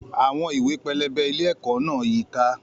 Àwọn ìwé pẹlẹbẹ ilé-ẹ̀kọ́ náà yí i ká.